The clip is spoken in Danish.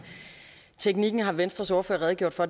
teknikken har venstres ordfører redegjort for